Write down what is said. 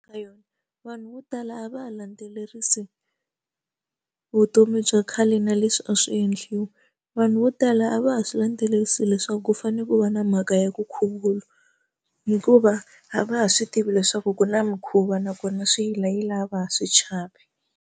Vanhu vo tala a va ha landzelerisi vutomi bya khale na leswi a swi endliwi vanhu vo tala a va ha swi landzelerisi leswaku ku fanele ku va na mhaka ya ku khuvula hikuva a va ha swi tivi leswaku ku na mikhuva nakona swi yila yila a va ha swi chavi.